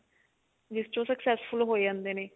ਜਿਸ ਚ ਉਹ successful ਹੋ ਜਾਂਦੇ ਨੇ